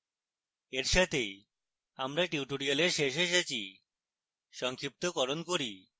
এর সাথেই আমরা tutorial শেষে এসেছি সংক্ষিপ্তকরণ করি